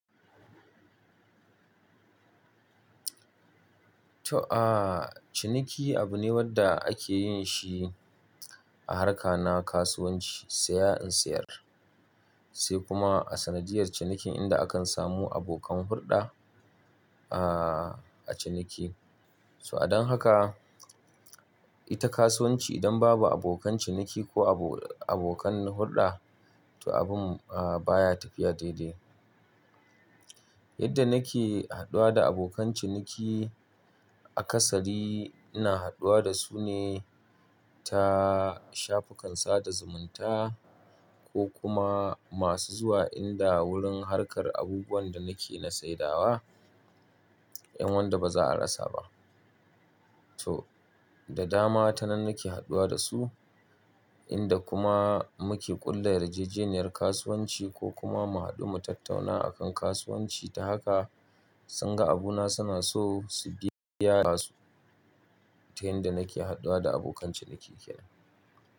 To, ciniki abu ne wanda ake yin shi a harka na kasuwanci, saya in sayar, sai kuma a sanadiyar cinikin inda akan samu abokan hurɗa, a ciniki. So, don haka ita kasuwanci idan babu abokan ciniki ko abokan hurɗa, to abun, baya tafiya daidai. Yadda nake haduwa da abokan ciniki aƙasari, ina haduwa da su ne ta shafukan sada zumunta ko kuma masu zuwa inda wurin harkar abubuwan da nake na saidawa, yan wanda baza a rasa ba. To, da dama ta nan nake haduwa da su, in da kuma muke ƙulla yarjejeniyar kasuwanci ko kuma mu haɗu mu tattauna a kan kasuwanci. Ta haka sun ga abuna suna so su biya su ta yadda nake haduwa da abokan ciniki kenan.